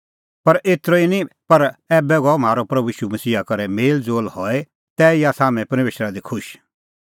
एतरअ ई निं पर ऐबै गअ म्हारअ प्रभू ईशू मसीहा करै मेल़ज़ोल़ हई तैही आसा हाम्हैं परमेशरा दी खुश